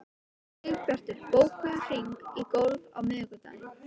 Sigbjartur, bókaðu hring í golf á miðvikudaginn.